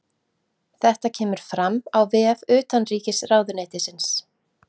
Þetta kemur fram á vef utanríkisráðuneytisins